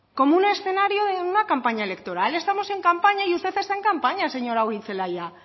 como un escenario de una campaña electoral estamos en campaña y usted está en campaña señora goirizelaia